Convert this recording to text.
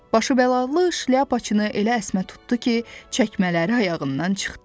Başı bəlalı şlyapaçını elə əsmə tutdu ki, çəkmələri ayağından çıxdı.